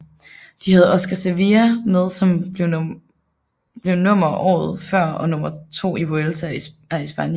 De havde Oscar Sevilla med som blev nummer året før og nr 2 i Vuelta a España